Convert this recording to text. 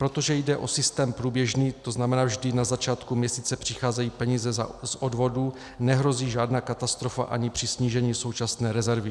Protože jde o systém průběžný, to znamená, vždy na začátku měsíce přicházejí peníze z odvodů, nehrozí žádná katastrofa ani při snížení současné rezervy.